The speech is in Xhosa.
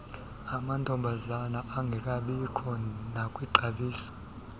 amantombazana engekabikho nakwixabiso